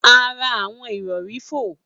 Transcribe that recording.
A ra awọn irọri fo.